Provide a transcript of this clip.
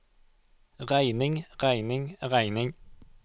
regning regning regning